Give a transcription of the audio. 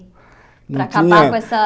Não tinha Para acabar com essa